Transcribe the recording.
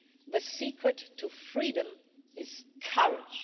the secret to freedom is courage'.